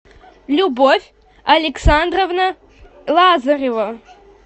любовь александровна лазарева